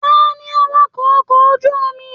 Taní awakọ ọkọ̀ ojú omi?